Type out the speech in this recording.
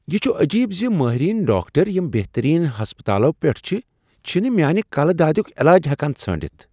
یہ چھ عجیب ز مٲہرین ڈاکٹر یِم بہترین ہسپتالو پیٹھ چِھ، چھنہٕ میانِہ کَلہٕ دادِیُک علاج ہیکان ژھٲنڑِتھ۔